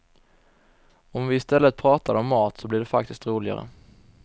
Om vi i stället pratade om mat så blir det faktiskt roligare.